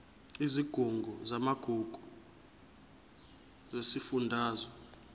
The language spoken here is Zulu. isigungu samagugu sesifundazwe